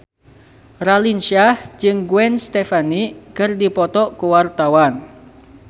Raline Shah jeung Gwen Stefani keur dipoto ku wartawan